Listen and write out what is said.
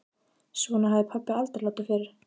Svona hafði pabbi aldrei látið fyrr.